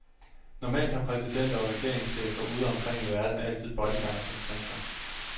Normalt har præsidenter og regeringschefer ude omkring i verden altid bodyguards omkring sig.